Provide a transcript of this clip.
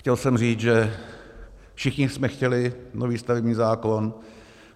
Chtěl jsem říct, že všichni jsme chtěli nový stavební zákon.